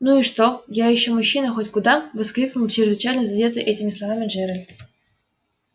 ну и что я ещё мужчина хоть куда воскликнул чрезвычайно задетый этими словами джеральд